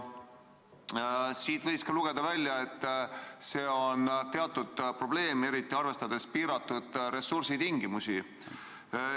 Sellest võis välja lugeda, et see on teatud probleem, eriti arvestades piiratud ressursse.